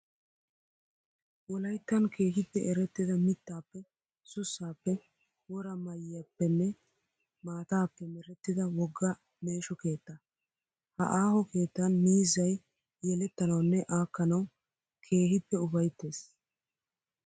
Wolayittan keehippe erettida mittaappe, sussaappe, wora mayyiyaappenne maataappe merettida wogga meesho keettaa. Ha aaho keettan miizzayi yelettanawunne aakkanawu keehippe upayittes.